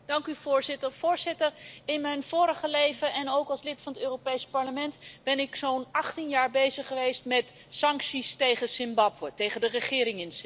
Voorzitter, in mijn vorige leven en ook als lid van het Europees Parlement ben ik zo'n 18 jaar bezig geweest met sancties tegen Zimbabwe, tegen de regering in Zimbabwe.